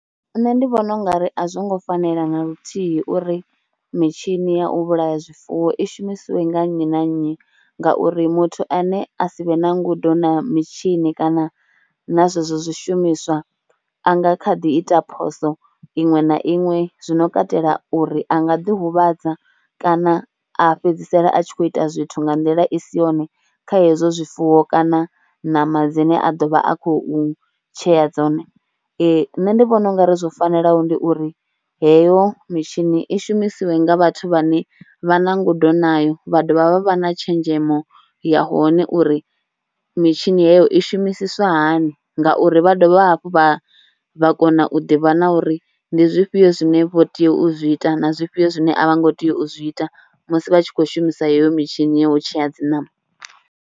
Nṋe ndi vhona ungari a zwo ngo fanela na luthihi uri mitshini ya u vhulaya zwifuwo i shumisiwe nga nnyi na nnyi ngauri muthu ane a si vhe na ngudo na mitshini kana na zwezwo zwishumiswa a nga kha ḓi ita phoso iṅwe na iṅwe zwino katela uri a nga ḓihuvhadza kana a fhedzisela a tshi kho ita zwithu nga nḓila i si yone kha hezwo zwifuwo kana nama dzine a do vha a khou tshea dzone. Nṋe ndi vhona ungari zwo fanelaho ndi uri heyo mitshini i shumisiwe nga vhathu vhane vha na ngudo nayo vha dovha vha vha na tshenzhemo ya hone uri mitshini heyo i shumisiswa hani ngauri vha dovha hafhu vha vha kona u ḓivha na uri ndi zwifhio zwine vho tea u zwi ita na zwifhio zwine a vha ngo tea u zwi ita musi vha tshi kho shumisa heyo mitshini ya u tshea dzi ṋama.